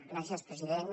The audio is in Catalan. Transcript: gràcies president